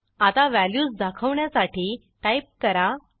आता व्हॅल्यूज दाखवण्यासाठी टाईप करा